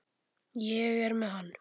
Ég er með hann.